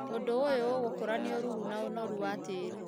ũndũ ũyũ ũgũkũrania ũrũrũ na ĩnoru wa tĩri